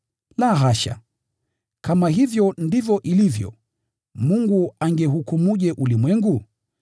La hasha! Kama hivyo ndivyo ilivyo, Mungu angehukumuje ulimwengu?